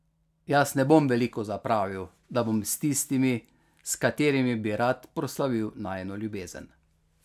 Jaz ne bom veliko zapravil, da bom s tistimi, s katerimi bi rad proslavil najino ljubezen.